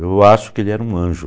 Eu acho que ele era um anjo.